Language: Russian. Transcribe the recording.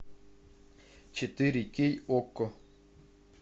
четыре кей окко